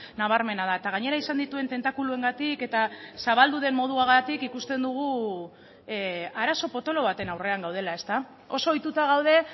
nabarmena da eta gainera izan dituen tentakuluengatik eta zabaldu den moduagatik ikusten dugu arazo potolo baten aurrean gaudela oso ohituta gaude